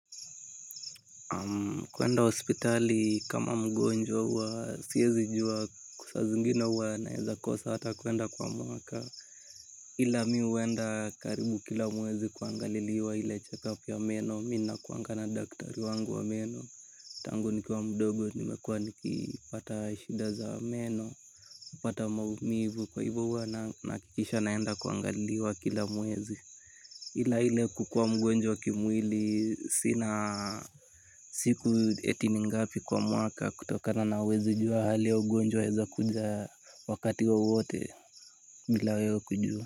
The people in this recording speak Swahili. Kuenda hospitali kama mgonjwa huwa siezi jua saa zingine huwa naeza kosa hata kuenda kwa mwaka ila mi huenda karibu kila mwezi kuangaliliwa ile check-up ya meno. Mi nakuanga na daktari wangu wa meno. Tangu nikiwa mdogo nimekuwa nikipata shida za meno hupata maumivu kwa hivo huwa nahakikisha naenda kuangaliliwa kila mwezi. Ila ile kukua mgonjwa kimwili sina siku eti ni ngapi kwa mwaka kutokana na huwezi jua hali ya ugonjwa eza kuja wakati wowote bila wewe kujua.